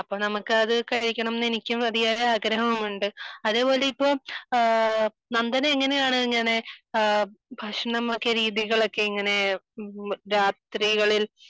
ഞാൻകഴിഞ്ഞ ദിവസങ്ങളിൽ കോഴിക്കോട് പോയിരുന്നു.